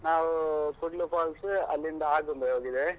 ನಾವು ಕೂಡ್ಲು falls, ಅಲ್ಲಿಂದ ಆಗುಂಬೆ ಹೋಗಿದ್ದೇವೆ.